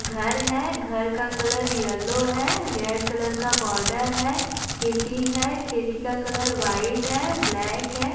घर है घर का कलर येलो है रेड कलर का बॉर्डर है खिरकी है खिरकी का कलर वाइट है ब्लैक है।